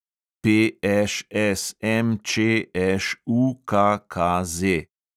PŠSMČŠUKKZ